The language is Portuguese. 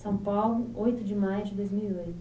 São Paulo, oito de maio de dois mil e oito